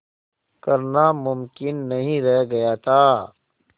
करना मुमकिन नहीं रह गया था